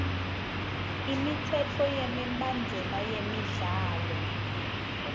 imitsetfo nemibandzela yemidlalo